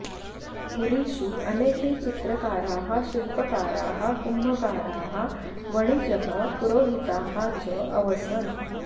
पुरीषु अनेके चित्रकाराः शिलपकाराः कुम्भकाराः वणिजः पुरोहिताः च अवसन्